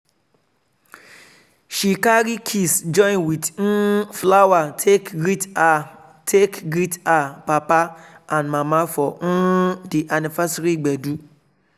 she carry kiss join with um flower take greet her take greet her papa and mama for um di anniversary gbedu.